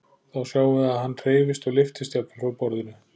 Þá sjáum við að hann hreyfist og lyftist jafnvel frá borðinu.